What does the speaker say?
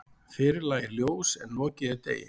Fyrr lægir ljós en lokið er degi.